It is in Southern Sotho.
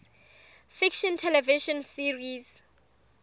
fiction television series